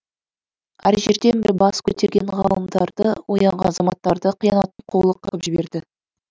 әр жерден бір бас көтерген ғалымдарды оянған азаматтарды қиянаттың қолы қырқып жіберді